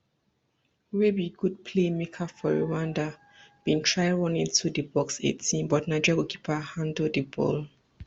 wey be good play maker for rwanda bin try run into di box eighteen but nigeria goalkeeper handle di ball